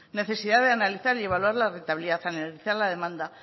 necesidad de analizar y evaluar la rentabilidad analizar la demanda